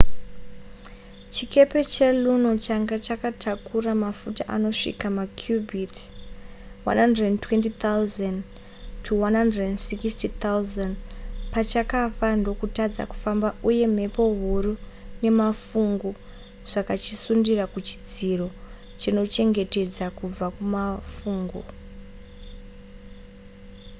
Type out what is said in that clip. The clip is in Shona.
chikepe cheluno changa chakatakura mafuta anosvika makubiti 120 000-160 000 pachakafa ndokutadza kufamba uye mhepo huru nemafungu zvakachisundira kuchidziro chinochengetedza kubva kumafungu